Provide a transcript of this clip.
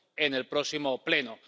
en el próximo Pleno—.